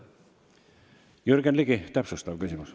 Jürgen Ligi, täpsustav küsimus.